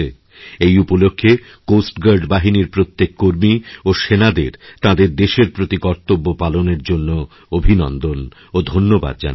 এই উপলক্ষে কোস্টগার্ড বাহিনীর প্রত্যেক কর্মী ও সেনাদের তাঁদের দেশের প্রতি কর্তব্য পালনের জন্যঅভিনন্দন ও ধন্যবাদ জানাচ্ছি